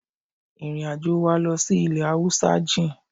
Ìrìn àjò wa lọ sí ilẹ̀ Haúsá jìn.